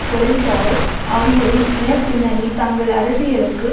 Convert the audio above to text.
Colin Powell ஆகியோரின் இனப்பின்னணி தங்கள் அரசியலுக்கு